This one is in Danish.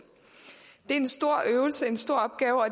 det er en stor øvelse og en stor opgave og